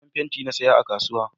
Farin fenti na saya a kasuwa